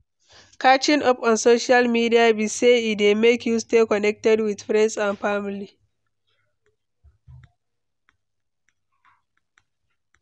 Catching up on social media be say e dey make you stay connected with friends and family.